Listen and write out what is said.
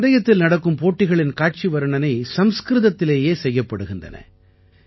இந்தப் பந்தயத்தில் நடக்கும் போட்டிகளின் காட்சி வர்ணனை சம்ஸ்கிருதத்திலேயே செய்யப்படுகின்றது